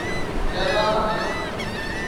Ketaa ena